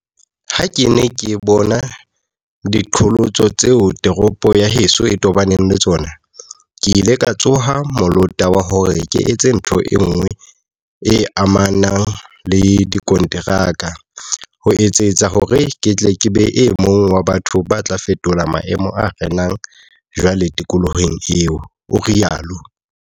"Ha ke ne ke bona diqholotso tseo toropo ya heso e tobaneng le tsona, ke ile ka tsoha molota wa hore ke etse ntho enngwe e amanang le dikonteraka, ho etsetsa hore ke tle ke be e mong wa batho ba tla fetola maemo a renang jwale tikolohong eo," o rialo.